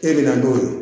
E bɛna n'o ye